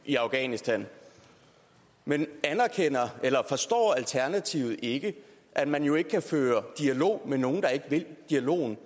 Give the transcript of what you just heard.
i afghanistan men forstår alternativet ikke at man jo ikke kan føre dialog med nogen der ikke vil dialogen